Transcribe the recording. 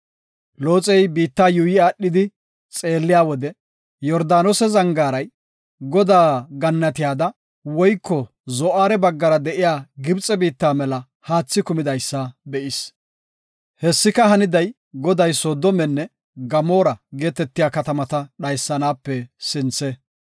Looxey biitta yuuyi aadhidi xeelliya wode Yordaanose zangaaray, Godaa gannatiyada woyko Zo7aare baggara de7iya Gibxe biitta mela haathi kumidaysa be7is. Hessika, haniday Goday Soodomenne Gamoora geetetiya katamata dhaysanape sinthe.